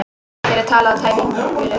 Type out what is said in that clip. Hér er talað tæpitungulaust